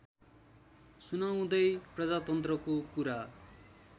सुनाउँदै प्रजातन्त्रको कुरा